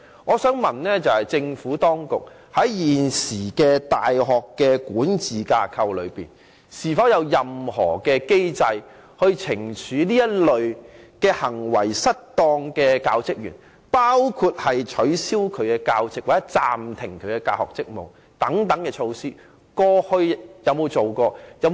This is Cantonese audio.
我想詢問政府當局，在現時大學的管治架構內，是否有任何機制懲處這類行為失當的教職員，包括取消該教職員的教席或暫停他的大學職務等？